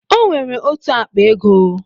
O nwere otu akpa ego